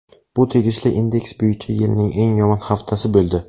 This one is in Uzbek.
Bu tegishli indeks bo‘yicha yilning eng yomon haftasi bo‘ldi.